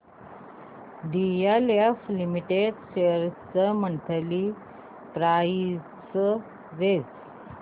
DLF limited shares ची monthly price range